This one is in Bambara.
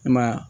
I ma ye wa